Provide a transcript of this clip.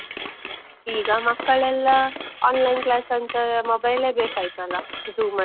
ಈಗ ಮಕ್ಕಳೆಲ್ಲ online class ಅಂತ mobile ಏ ಬೇಕಾಯ್ತಲ್ಲ, Zoom ಅಲ್ಲಿ.